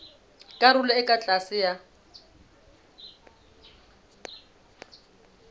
karolong e ka tlase ya